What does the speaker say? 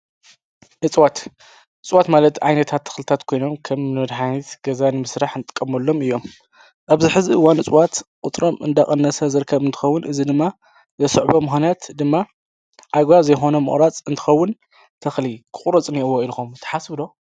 እፅዋት፡- እፅዋት ማለት ዓይነታት ተኽልታት ኮይኖም ከም ንመድሓኒት ገዛ ንምሥራሕ እንትቀመሎም እዮም፡፡ ኣብዚ ሕዚ እዋን እፅዋት ቝፅሮም እንዳቐነሰ ዝርከቡ እንትኸውን እዚ ድማ ዘስዕቦ ምኽንያት ድማ ኣግባብ ዘይብሉ መቑራፅ እንትኸውን ተኽሊ ክቑረፅ እኒሄዎ ኢልኹም ተሓስቡ ዶ?